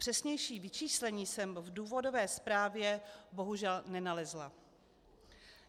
Přesnější vyčíslení jsem v důvodové zprávě bohužel nenalezla.